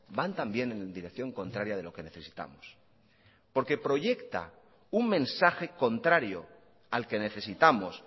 van también en dirección contraria de lo que necesitamos porque proyecta un mensaje contrario al que necesitamos